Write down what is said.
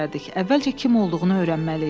Əvvəlcə kim olduğunu öyrənməliyik.